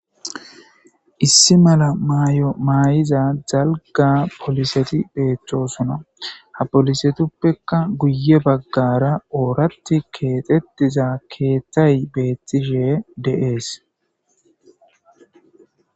Issi mala mayo mayidda dalga poliseti betossona ha polisetupekka guye bagara orathi kexetida keethay betishe de'es